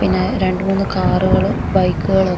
പിന്നേ രണ്ടുമൂന്നു കാറുകള് ബൈക്കുകളൊക്കെ --